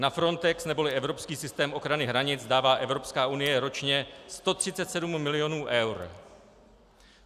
Na Frontex neboli evropský systém ochrany hranic dává Evropská unie ročně 137 milionů eur.